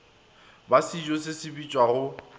ba sejo se se bitšwago